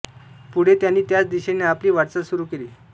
पुढे त्यांनी त्याच दिशेने आपली वाटचाल सुरू केली